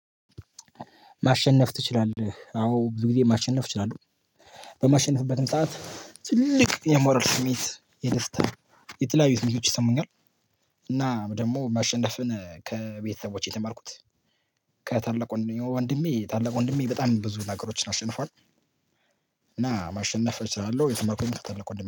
ማሸነፍ ትችላለህ አዎ ብዙ ጊዜ ማሸነፍ እችላለሁ። በማሸነፍበትም ሰዓት ትልቅ የሞራል ስሜት የደስታ የተለያዩ ስሜቶች ይሰሙኛል። እና ደግሞ ማሸነፍን ከቤተሰቦቼ የተማርኩት። ከታላቅ ወንድሜ ታላቅ ወንድሜ በጣም ብዙ ነገሮችን አሸንፏል። እና ማሸነፍ እችላለሁ የትማርኩት ከትልቅ ወንድሜ